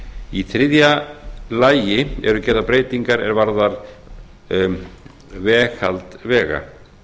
í þriðja lagi eru gerðar breytingar er varða veghald vega